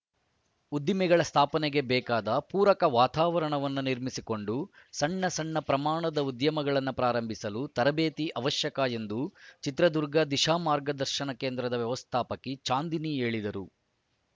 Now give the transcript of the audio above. ಉದ್ದಿಮೆಗಳ ಸ್ಥಾಪನೆಗೆ ಬೇಕಾದ ಪೂರಕ ವಾತಾವರಣವನ್ನು ನಿರ್ಮಿಸಿಕೊಂಡು ಸಣ್ಣ ಸಣ್ಣ ಪ್ರಮಾಣದ ಉದ್ಯಮಗಳನ್ನು ಪ್ರಾರಂಭಿಸಲು ತರಬೇತಿ ಅವಶ್ಯಕ ಎಂದು ಚಿತ್ರದುರ್ಗ ದಿಶಾ ಮಾರ್ಗದರ್ಶನ ಕೇಂದ್ರದ ವ್ಯವಸ್ಥಾಪಕಿ ಚಾಂದಿನಿ ಹೇಳಿದರು